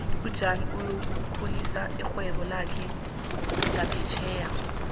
ujan uyokukhulisa irhwebo lakhe ngaphetjheya